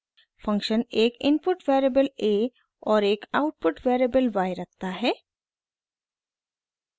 function एक input variable a और एक आउटपुट वेरिएबल y रखता है